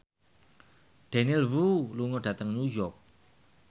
Daniel Wu lunga dhateng New York